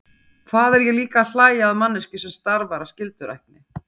Hvað er ég líka að hlæja að manneskju sem starfar af skyldurækni?